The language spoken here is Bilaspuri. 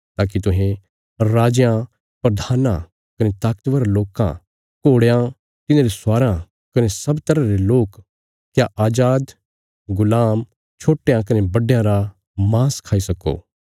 ताकि तुहें राजयां प्रधानां कने ताकतवर लोकां घोड़यां तिन्हांरे स्वाराँ कने सब तरह रे लोक क्या अजाद गुलाम छोट्टयां कने बड्डयां रा माँस खाई सक्को